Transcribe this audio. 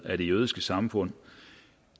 af det jødiske samfund